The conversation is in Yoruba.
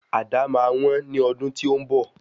Àdá máa wón ní ọdún tí ó ń bọ̀.